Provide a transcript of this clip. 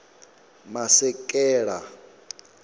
masekela